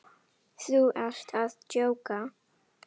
Þú ert að djóka?